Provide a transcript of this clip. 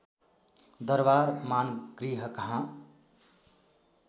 दरबार मानगृह कहाँ